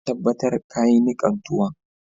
Ka tabatar ka yi nikan tuwon.